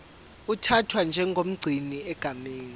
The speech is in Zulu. uthathwa njengomgcini egameni